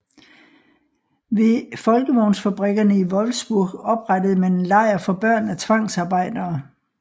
Ved VW fabrikkerne i Wolfsburg oprettede man en lejr for børn af tvangsarbejdere